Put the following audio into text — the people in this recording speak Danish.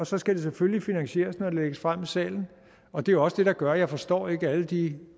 så skal det selvfølgelig finansieres når det lægges frem i salen og det er også det der gør at jeg ikke forstår alle de